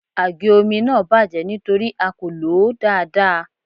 Àgé omi náà bàjẹ́ nítorí a kò lòó dáadáa.